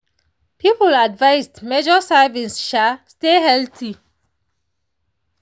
people advised measure servings um stay healthy.